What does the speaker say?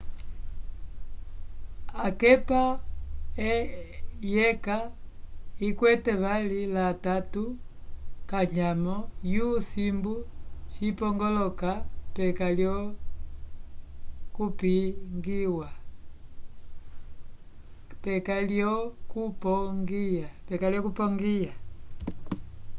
akepa yeka yikwete vali la tatu kanyamo vyo simbu cipongoloka peka ko lyo kupongiya